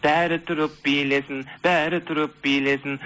бәрі тұрып билесін бәрі тұрып билесін